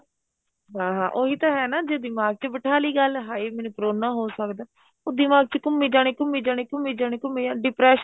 ਹਾਂ ਹਾਂ ਉਹੀ ਤਾਂ ਹੈ ਨਾ ਜੇ ਦਿਮਾਗ ਚ ਬਿਠਾ ਲਈ ਗੱਲ ਹਾਏ ਮੈਨੂੰ ਕਰੋਨਾ ਹੋ ਸਕਦਾ ਉਹ ਦਿਮਾਗ ਚ ਘੁੰਮੀ ਜਾਣੇ ਘੁੰਮੀ ਜਾਣੇ ਘੁੰਮੀ ਜਾਣੇ ਘੁੰਮੀ ਜਾਣੇ depression